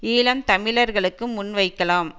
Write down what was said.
ஈழம் தமிழர்களுக்கு முன்வைக்கலாம்